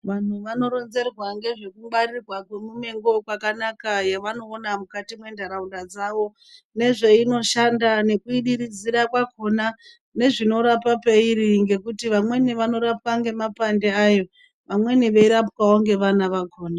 Vanhu vanoronzerwa ngezvekungwarirwa kwemumengo kwakanaka yevanoona mukati mwentaraunda dzawo nezveinoshanda nekuidiridzira kwakona nezvinorapa peiri nekuti vamweni vanorapwa ngemapande ayo amweni eirapwawo ngeana akhona.